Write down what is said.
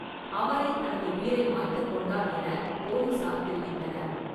அவரே தனது உயிரை மாய்த்துக் கொண்டார் எனப் போலீசார் தெரிவித்தனர்.